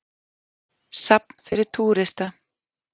Safn fyrir túrista.